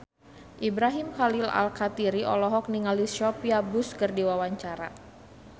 Ibrahim Khalil Alkatiri olohok ningali Sophia Bush keur diwawancara